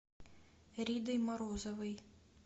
ридой морозовой